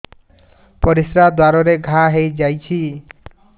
ପରିଶ୍ରା ଦ୍ୱାର ରେ ଘା ହେଇଯାଇଛି